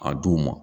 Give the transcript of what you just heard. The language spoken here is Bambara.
A d'u ma